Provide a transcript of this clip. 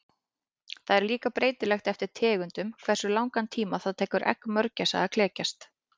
Það er líka breytilegt eftir tegundum hversu langan tíma það tekur egg mörgæsa að klekjast.